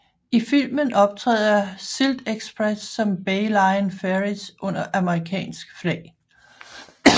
I filmen optræder SyltExpress som Bay Line Ferries under amerikansk flag